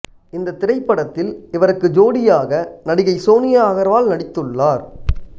இந்த திரைப்படத்தில் இவருக்கு ஜோடியாக நடிகை சோனியா அகர்வால் நடித்துள்ளார்